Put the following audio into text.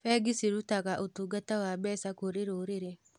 Bengi cirutaga ũtungata wa mbeca kũrĩ rũrĩrĩ.